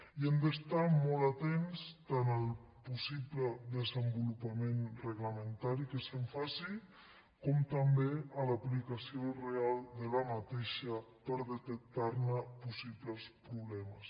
i hem d’estar molt atents tant al possible desenvolupament reglamentari que se’n faci com també a l’aplicació real d’aquesta per detectar ne possibles problemes